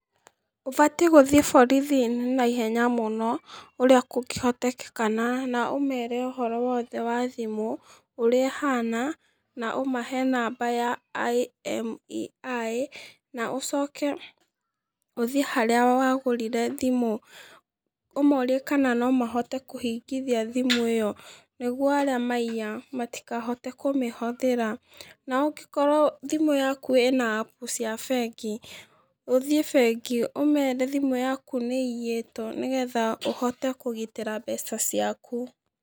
Ũbatiĩ gũthiĩ borithi naihenya mũno urĩa kũngĩhotekeka na ũmeere ũhoro wothe wa thimũ, ũria ĩhana, na ũmahe namba ya I-M-E-I, na ũcoke ũthiĩ harĩa wagũrire thimũ, ũmoorie kana nomahote kũhingithia thimũ ĩyo nĩguo arĩa maiya matikahote kũmĩhũthĩra. Na ũngĩkorwo thimũ yaku ĩna app cia bengi, uthiĩ bengi, ũmeere thimũ yaku nĩĩiyĩtwo, nĩgeetha ũhote kũgitĩra mbeca ciaku.